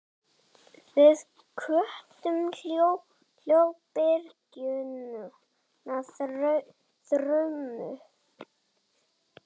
Við köllum hljóðbylgjuna þrumu.